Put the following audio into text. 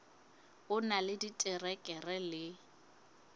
o na le diterekere le